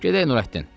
“Gedək, Nurəddin.